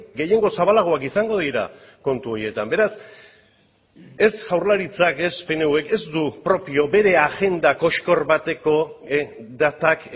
gehiengo zabalagoak izango dira kontu horietan beraz ez jaurlaritzak ez pnvk ez du propio bere agenda koxkor bateko datak